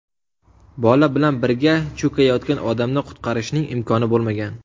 Bola bilan birga cho‘kayotgan odamni qutqarishning imkoni bo‘lmagan.